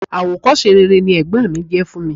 Àwòkọ́ṣe rere ni ẹ̀gbọ́n mi jẹ́ fún mi.